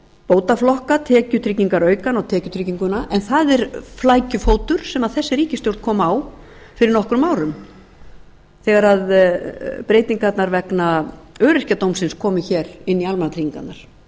bótaflokka tekjutryggingaraukann og tekjutrygginguna en það er flækjufótur sem þessi ríkisstjórn kom á fyrir nokkrum árum þegar breytingarnar vegna öryrkjadómsins komu hér inn í almannatryggingarnar